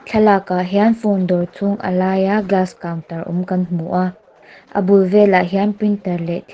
thlalak ah hian phone dawr chhung a laia glass counter awm kan hmu a a bul velah hian printer leh--